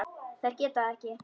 Þær gera það ekki.